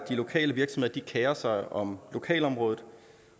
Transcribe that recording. de lokale virksomheder sig om lokalområdet